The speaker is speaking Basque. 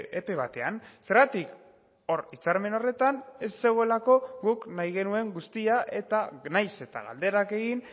epe batean zergatik hor hitzarmen horretan ez zegoelako guk nahi genuen guztia eta nahiz eta galderak egin